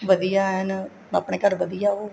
ਵਧੀਆ ਐਨ ਆਪਣੇ ਘਰ ਵਧੀਆ ਹੈ ਉਹ